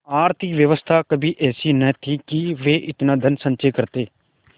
आर्थिक व्यवस्था कभी ऐसी न थी कि वे इतना धनसंचय करते